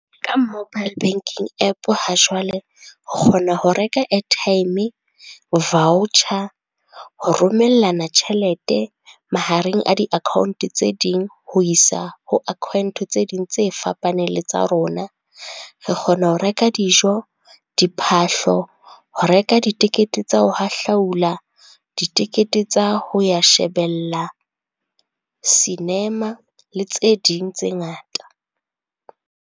Ka mobile banking App ha jwale, o kgona ho reka airtime, voucher, ho romellana tjhelete mahareng a di-account tse ding, ho isa ho account tse ding tse fapaneng le tsa rona. Re kgona ho reka dijo, diphahlo, ho reka ditekete tsa ho hahlaula, ditekete tsa ho ya shebella cinema le tse ding tse ngata.